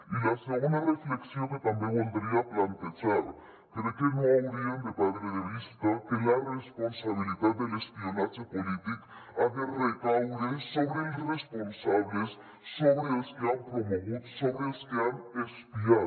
i la segona reflexió que també voldria plantejar crec que no haurien de perdre de vista que la responsabilitat de l’espionatge polític ha de recaure sobre els responsables sobre els que han promogut sobre els que han espiat